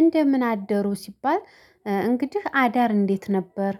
እንደምን አደሩ ሲባል እ እንግዲህ አዳር እንዴት ነበር?